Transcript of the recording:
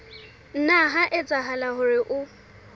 nna ha etsahala hore o